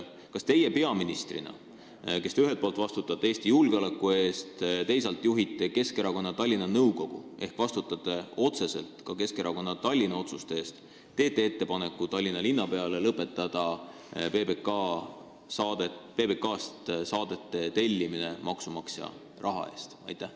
Kas teie peaministrina, kes te ühelt poolt vastutate Eesti julgeoleku eest, teisalt juhite Keskerakonna Tallinna nõukogu ehk vastutate otseselt ka Keskerakonna Tallinna-otsuste eest, teete Tallinna linnapeale ettepaneku lõpetada PBK-st saadete tellimine maksumaksja raha eest?